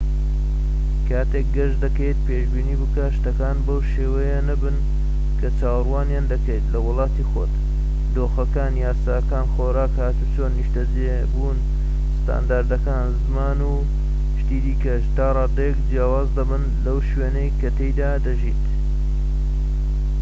کاتێک گەشت دەکەیت پێشبینی بکە شتەکان بەو شێوەیە نەبن کە چاوەڕوانیان دەکەیت لە وڵاتی خۆت دۆخەکان یاساکان خۆراک هاتووچۆ نیشتەجێبوون ستاندەرەکان زمان و شتی دیکەش تا ڕادەیەک جیاواز دەبن لەو شوێنەی کە تیایدا دەژیت